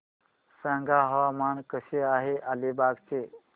सांगा हवामान कसे आहे अलिबाग चे